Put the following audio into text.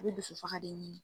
I be dusufaga de ɲini.